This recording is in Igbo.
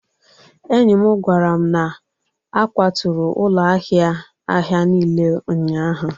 enyi m gwara m na a kwaturu ụlọ ahịa ahịa niile ụnyahụ